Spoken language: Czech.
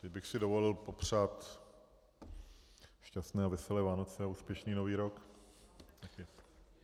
Teď bych si dovolil popřát šťastné a veselé Vánoce a úspěšný nový rok.